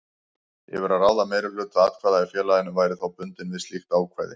yfir að ráða meirihluta atkvæða í félaginu væri þá bundinn við slíkt ákvæði.